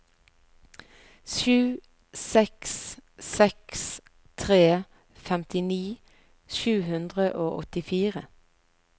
sju seks seks tre femtini sju hundre og åttifire